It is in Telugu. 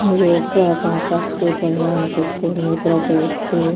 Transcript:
ఇది ఒక కాంట్రాక్టు పని లాగా అనిపిస్తుంది. ఇక్కడ ఒక వ్యక్తి --